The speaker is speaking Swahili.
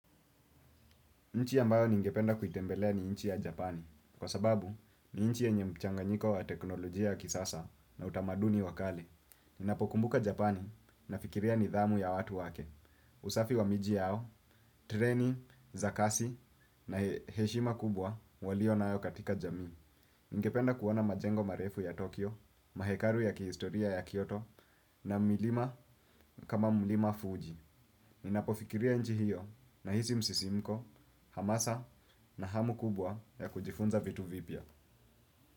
Nchi ambayo ningependa kuitembelea ni nchi ya Japani. Kwa sababu ni nchi yenye mchanganyiko wa teknolojia ya kisasa na utamaduni wakali. Ninapokumbuka Japani na fikiria nidhamu ya watu wake. Usafi wa miji yao, treni, zakasi na heshima kubwa walio na ayo katika jamii. Ninapokumbuka Japani na fikiria nidhamu ya watu wake. Usafi wa miji yao, treni, zakasi na heshima kubwa walio na ayo katika jamii. Ningependa kuona majengo marefu ya Tokyo, mahekaru ya kihistoria ya Kyoto na milima kama mlima Fuji. Ninapofikiria nchi hiyo nahisi msisimko, hamasa na hamu kubwa ya kujifunza vitu vipia.